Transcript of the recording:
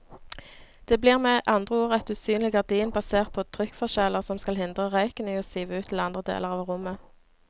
Det blir med andre ord et usynlig gardin basert på trykkforskjeller som skal hindre røyken i å sive ut til andre deler av rommet.